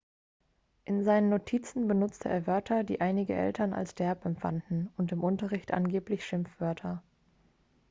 in seinen notizen benutzte er wörter die einige eltern als derb empfanden und im unterricht angeblich schimpfwörter